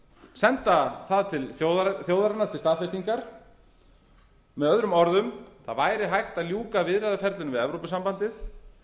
senda það til þjóðarinnar til staðfestingar möo það væri hægt að ljúka viðræðuferlinu við evrópusambandið